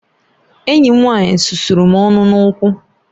Enyi m nwanyị susuru m ọnụ n'ugwu